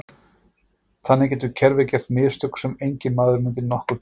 Þannig getur kerfið gert mistök sem enginn maður myndi nokkurn tíma gera.